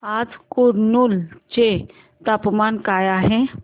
आज कुरनूल चे तापमान काय आहे